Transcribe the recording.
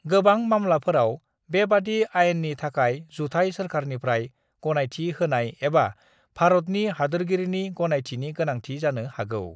गोबां मामलाफोराव बेबादि आयेननि थाखाय जुथाय सोरखारनिफ्राय गनायथि होनाय एबा भारतनि हादोरगिरिनि गनायथिनि गोनांथि जानो हागौ।